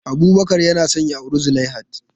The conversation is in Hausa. Abubakar yana son ya auri Zulaihat.